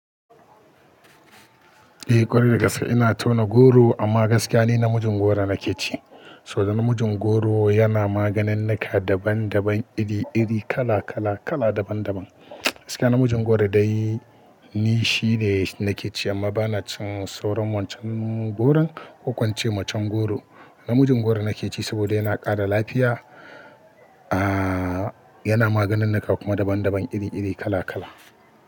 Eh ƙwarai da gaske ina tauna goro, amma gaskiya ni namijin goro nake ci. Saboda namijin goro yana maganinnika daban-daban iri-iri kala-kala kala daban-daban. Gaskiya namijin goro dai, ni shine nake ci amma bana cin sauran wancan goron, ko ko ince macen goro. Namijin goro nake ci saboda yana ƙara lafiya, yana maganinnika kuma daban-daban iri-iri kala-kala.